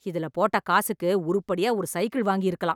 இதுல போட்ட காசுக்கு உருப்படியா ஒரு சைக்கிள் வாங்கி இருக்கலாம்